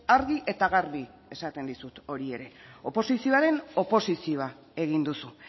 argi eta garbi esaten dizut hori ere oposizioaren oposizioa egin duzu